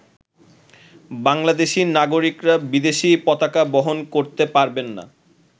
বাংলাদেশী নাগরিকরা বিদেশী পতাকা বহন করতে পারবেন না।